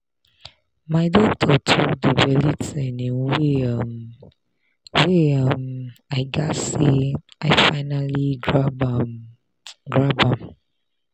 my doctor talk the belly thing in way um wey um i gatz say i finally grab um grab am.